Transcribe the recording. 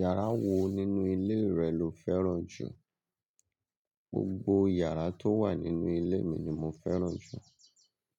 Yàrá wo nínú ilé rẹ lo fẹ́ràn jù? Gbogbo iyàrá tó wà nínú ilé mi ni mo fẹ́ràn jù.